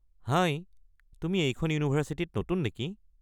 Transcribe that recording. হাই, তুমি এইখন ইউনিভাৰছিটিত নতুন নেকি?